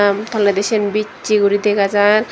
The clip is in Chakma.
toleydi sen bisay gori dagajar.